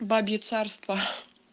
бабье царство